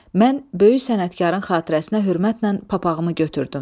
Mən böyük sənətkarın xatirəsinə hörmətlə papağımı götürdüm.